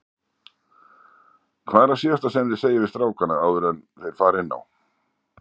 Hvað er það síðasta sem þið segið við strákana áður enn þeir fara inn á?